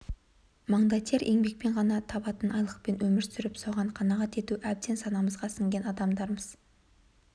маңдай тер еңбекпен ғана табатын айлықпен өмір сүріп соған қанағат ету әбден санамызға сіңген адамдармыз